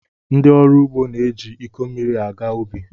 Ndi ọrụ ugo na-eji iko mmiri aga ubi.